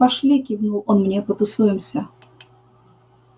пошли кивнул он мне потусуемся